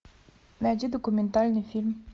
найди документальный фильм